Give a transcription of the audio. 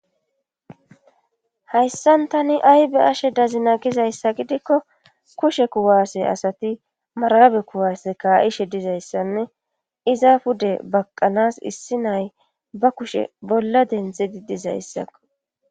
Hayssan tani aybe ashe dazina gizayssa gidikko kushe kuwaasse asati marabe kuwaase kaa'ishe dizayssanne iza pude baqqanas issi nay ba kushe bolla denthedi dizayssakko.